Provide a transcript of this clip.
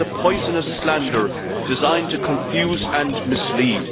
This is a poisonous slander, designed to confuse and mislead.